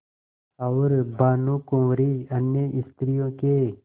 और भानुकुँवरि अन्य स्त्रियों के